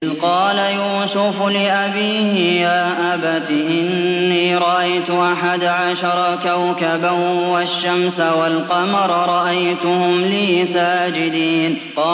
إِذْ قَالَ يُوسُفُ لِأَبِيهِ يَا أَبَتِ إِنِّي رَأَيْتُ أَحَدَ عَشَرَ كَوْكَبًا وَالشَّمْسَ وَالْقَمَرَ رَأَيْتُهُمْ لِي سَاجِدِينَ